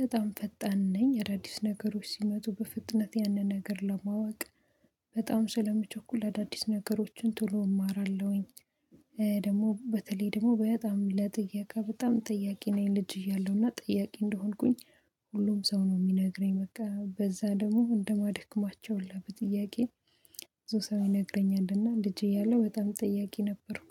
በጣም ፈጣን ነኝ እዳዲስ ነገሮች ሲመጡ በፍጥነት ያንን ነገር ለማወቅ በጣም ስለመቸኩል አዳዲስ ነገሮችን ቶሎ እማራለሁኝ። ደግሞ በተለይ ደግሞ በጣም ለጥየቃ በጣም ጠያቄ ነኝ ልጅ እያለሁና ጠያቄ እንደሆንኩኝ ሁሉም ሰው ነው የሚነግረኝ በቃ በዛ ደግሞ እንደማደክማቸው የለም ጥያቄን። ብዙ ሰው ይነግረኛልና ልጅ እያለሁ በጣም ጠያቂ ነበርኩ።